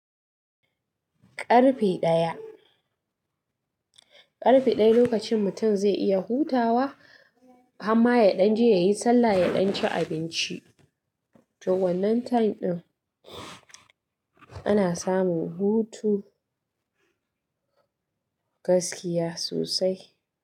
Karfe ɗaya. Karfe ɗaya lokacin mutum zai iya hutawa, hamma ya ɗan je ya yi sallah, ya ɗan ci abinci. To wannan time ɗin ana samun hutu gaskiya sosai.